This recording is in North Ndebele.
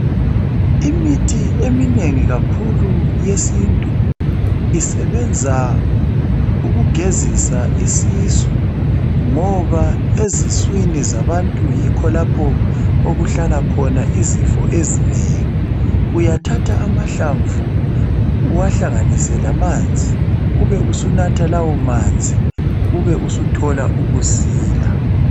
Imithi eminengi kakhulu yesintu isebenza ukugezisa isisu ngoba eziswini zabantu yikho lapho okuhlala khona izifo ezinengi uyathatha amahlamvu uwahlanganise lamanzi ube usunatha lawo manzi ube usuthola ukusila.